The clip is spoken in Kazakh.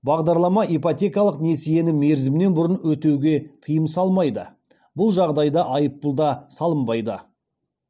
бағдарлама ипотекалық несиені мерзімінен бұрын өтеуге тыйым салмайды бұл жағдайда айыппұл да салынбайды